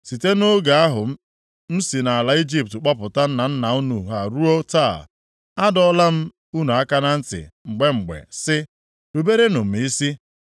Site nʼoge ahụ m si nʼala Ijipt kpọpụta nna nna unu ha ruo taa, adọọla m unu aka na ntị mgbe mgbe sị, “Ruberenụ m isi.”